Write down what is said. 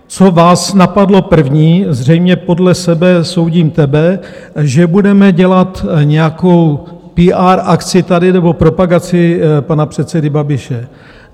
Co vás napadlo první, zřejmě podle sebe soudím tebe, že budeme dělat nějakou PR akci tady nebo propagaci pana předsedy Babiše.